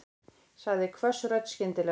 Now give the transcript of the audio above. sagði hvöss rödd skyndilega.